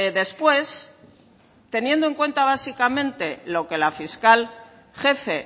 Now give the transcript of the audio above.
después teniendo en cuenta básicamente lo que la fiscal jefe